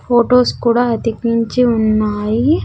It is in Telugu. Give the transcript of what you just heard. ఫొటోస్ కూడా అధికి మించి ఉన్నాయి.